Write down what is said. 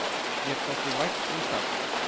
Mér þótti vænt um það.